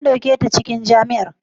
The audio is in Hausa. an dauke ta cikin jami'a?